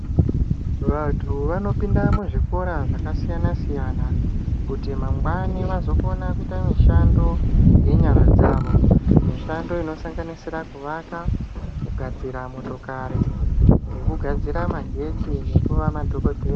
Vantu vanopinda muzvikora zvakasiyana-siyana kuti mangwanani vazokona kuita mishando yenyara dzavo. Mishando inosanganisira kuvaka, kugadzira motokari ngekugadzira magetsi nekuva madhogodhe...